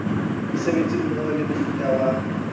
mosebetsi mmoho le mofuta wa